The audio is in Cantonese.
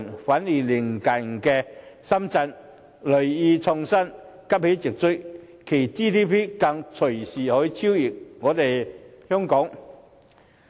反而鄰近的深圳銳意創新，急起直追，其 GDP 更隨時超越香港。